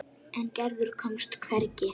En Gerður komst hvergi.